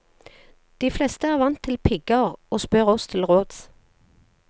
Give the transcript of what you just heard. De fleste er vant til pigger, og spør oss til råds.